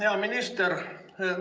Hea minister!